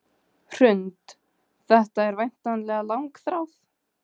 Hrund: Þetta er væntanlega langþráð?